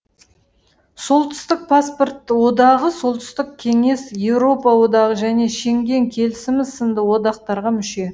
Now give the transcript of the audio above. солтүстік паспорт одағы солтүстік кеңес еуропа одағы және шенген келісімі сынды одақтарға мүше